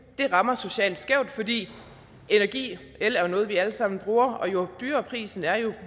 det rammer socialt skævt fordi energi el jo er noget vi alle sammen bruger og jo dyrere prisen er jo